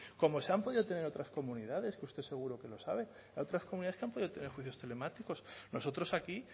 como se han podido tener en otras comunidades que usted seguro que lo sabe hay otras comunidades que han podido tener juicios telemáticos nosotros aquí